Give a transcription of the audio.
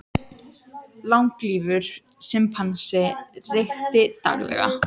Langlífur simpansi reykti daglega